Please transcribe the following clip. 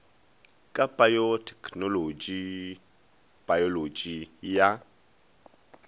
ka go payothekenolotši payolotši ya